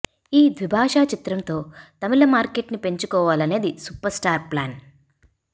ఈ ద్విభాషా చిత్రంతో తమిళ మార్కేట్ ని పెంచుకోవాలనేది సూపర్ స్టార్ ప్లాన్